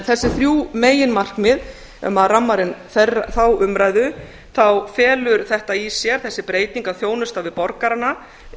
þessi þrjú meginmarkmið ef maður rammar inn þá umræðu þá felur þetta í sér þessi breyting að þjónusta við borgarana